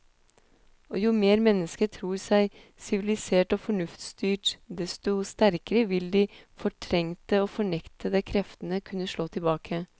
Og jo mer mennesket tror seg sivilisert og fornuftsstyrt, desto sterkere vil de fortrengte og fornektede kreftene kunne slå tilbake.